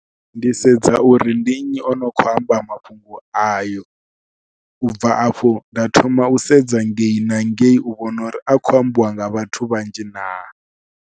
Ndi sedza uri ndi nnyi o no khou amba mafhungo ayo, u bva afho nda thoma u sedza ngei na ngei u vhona uri a khou ambiwa nga vhathu vhanzhi naa.